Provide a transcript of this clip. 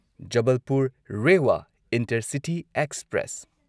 Jabalpur Rewa intercity express